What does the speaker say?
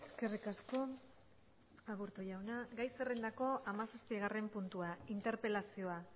eskerrik asko aburto jauna gai zerrendako hamazazpigarren puntua interpelazioa